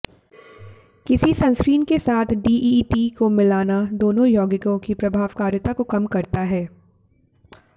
किसी सनस्क्रीन के साथ डीईईटी को मिलाना दोनों यौगिकों की प्रभावकारिता को कम करता है